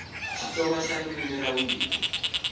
xitsonga xa ririmi ra vumbirhi